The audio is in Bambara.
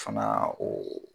O fana o